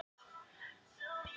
Það er mjög kúl.